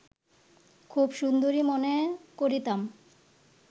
খুব সুন্দরী মনে করিতাম